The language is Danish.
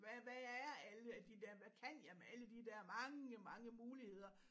Hvad hvad er alle af de der hvad kan jeg med de der mange mange muligheder